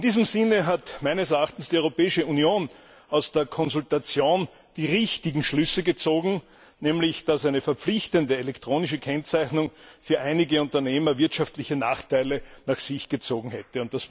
In diesem Sinne hat meines Erachtens die Europäische Union aus der Konsultation die richtigen Schlüsse gezogen, nämlich dass eine verpflichtende elektronische Kennzeichnung für einige Unternehmer wirtschaftliche Nachteile nach sich gezogen hätte.